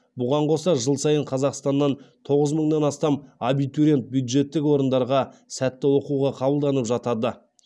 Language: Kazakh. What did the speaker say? бұған қоса жыл сайын қазақстаннан тоғыз мыңнан астам абитуриент бюджеттік орындарға сәтті оқуға қабылданып жатады